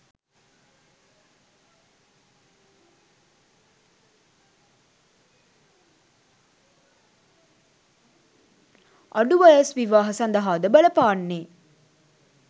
අඩු වයස් විවාහ සඳහා ද බලපාන්නේ